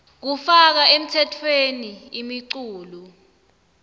kufaka emtsetfweni imiculu